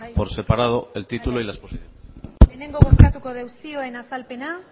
bai bai lehenengo bozkatuko dugu zioen azalpena